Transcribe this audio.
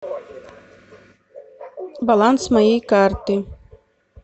баланс моей карты